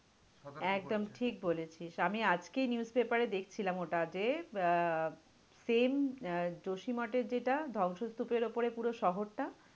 একদম ঠিক বলেছিস, আমি আজকেই newspaper এ দেখছিলাম ওটা যে আহ same যোশী মাঠের যেটা ধ্বংস স্তূপের ওপরে পুরো শহরটা